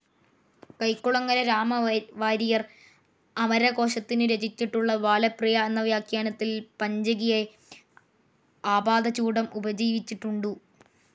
കൈക്കുളങ്ങര രാമവാരിയർ അമരകോശത്തിനു രചിച്ചിട്ടുള്ള ബാലപ്രിയ എന്ന വ്യാഖ്യാനത്തിൽ പഞ്ചികയെ ആപാദചൂഡം ഉപജീവിച്ചിട്ടുണ്ടു്.